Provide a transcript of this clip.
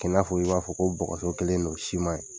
K'i y'a fɔ i b'a fɔ ko bogɔso kɛlɛ don sima ye.